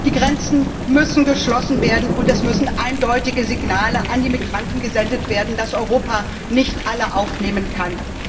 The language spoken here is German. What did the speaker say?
Die Grenzen müssen geschlossen werden, und es müssen eindeutige Signale an die Migranten gesendet werden, dass Europa nicht alle aufnehmen kann.